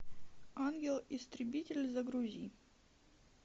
ангел истребитель загрузи